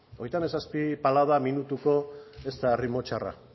hogeita hamazazpi palada minutuko ez da erritmo txarra